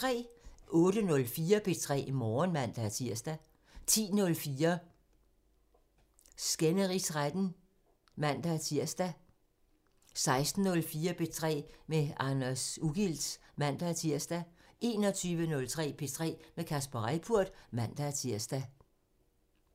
08:04: P3 Morgen (man-tir) 10:04: Skænderigsretten (man-tir) 16:04: P3 med Anders Ugilt (man-tir) 21:03: P3 med Kasper Reippurt (man-tir)